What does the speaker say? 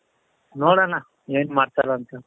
ನೋಡಣ ಏನ್ ಮಾಡ್ತಾರೆ ಅಂತ